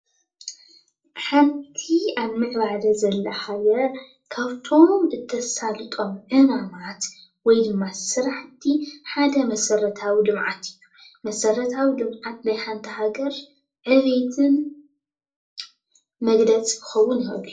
ሓንቲ ኣብ ምዕባለ ዘላ ሃገር ካብቶም እተሳልጦም ዕማማት ወይ ድማ ስራሕቲ ሓደ መሰረታዊ ልምዓት እዩ፡፡ መሰረታዊ ልምዓት ናይ ሃንቲ ሃገር ዕብየትን መግለፂ ክኸውን ይክእል እዮ፡፡